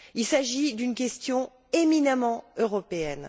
Il s'agit d'une question éminemment européenne.